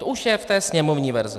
To už je v té sněmovní verzi.